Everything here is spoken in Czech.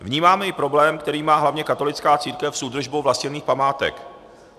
Vnímáme i problém, který má hlavně katolická církev, s údržbou vlastněných památek.